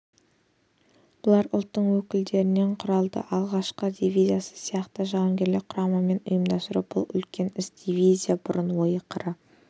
бұлар ұлттың өкілдерінен құралды атқыштар дивизиясы сияқты жауынгерлік құраманы ұйымдастыру бұл үлкен іс дивизия бұрын ойы-қыры